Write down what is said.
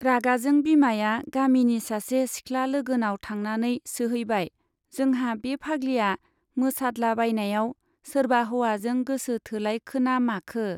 रागाजों बिमाया गामिनि सासे सिख्ला लोगोनाव थांनानै सोहैबाय, जोंहा बे फाग्लिया मोसादलाबायनायाव सोरबा हौवाजों गोसो थोलायखोना माखो ?